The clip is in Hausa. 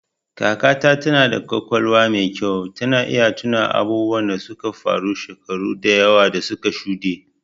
Kakata tana da ƙwaƙwalwar mai kyau, tana iya tuno abubuwan da suka faru shekaru da yawa da suka shuɗe.